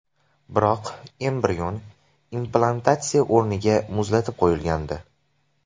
Biroq, embrion implantatsiya o‘rniga muzlatib qo‘yilgandi.